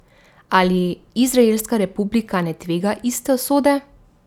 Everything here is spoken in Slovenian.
Ali izraelska republika ne tvega iste usode?